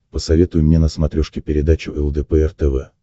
посоветуй мне на смотрешке передачу лдпр тв